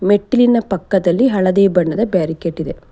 ಮೆಟ್ಟಿಲಿನ ಪಕ್ಕದಲ್ಲಿ ಹಳದಿ ಬಣ್ಣದ ಬ್ಯಾರಿಕೆಡ್ ಇದೆ.